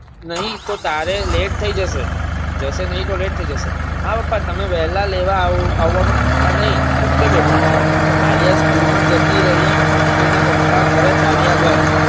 નહિ તો તારે લેટ થઇ જશે જશે નહિ તો લેટ થઇ જશે હા પપ્પા તમે વેળા લેવા આવવાનું ભ્રૂલતા નહી. ok બેટા આલ્યા School માં જતી રહી અને એના પપ્પા ધરે ચાલ્યા ગયા